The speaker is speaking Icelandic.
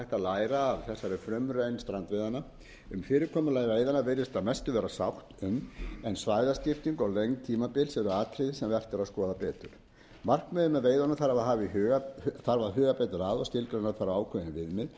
læra af þessari frumraun strandveiðanna um fyrirkomulag veiðanna virðist að mestu vera sátt um en svæðaskipting og löng tímabil eru atriði sem vert er að skoða betur markmiðið með veiðunum þarf að huga betur að og skilgreina þarf ákveðin viðmið sérstaklega